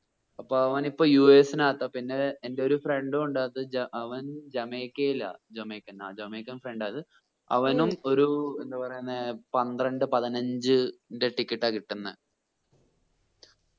അപ്പോ അവൻ ഇപ്പോ യു എസ്സിനാത്ത പിന്നെ എന്റെ ഒരു friend ഉം ഉണ്ട് അത് അവൻ ജമൈക്കയില ജമൈക്കൻ ആ ജമൈക്കൻ friend ആ അത് ഉം അവനും ഒരു എന്താ പറയുന്നേ പന്ത്രണ്ട് പതിനഞ്ച് ന്റെ ticket ആ കിട്ടുന്നെ